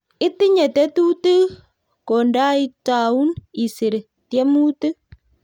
Itinye tetutik kondoitaun isir tiemutik